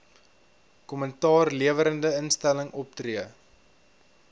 kommentaarlewerende instelling optree